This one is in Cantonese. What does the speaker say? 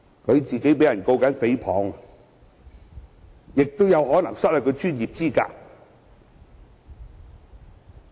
他現時也被人控告誹謗，更有可能因而失去專業資格。